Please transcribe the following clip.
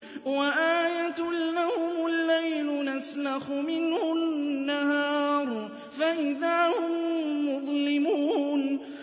وَآيَةٌ لَّهُمُ اللَّيْلُ نَسْلَخُ مِنْهُ النَّهَارَ فَإِذَا هُم مُّظْلِمُونَ